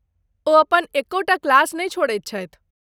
ओ अपन एक्कहु टा क्लास नहि छोड़ैत छथि।